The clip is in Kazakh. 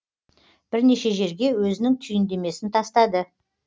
бірнеше жерге өзінің түйіндемесін тастады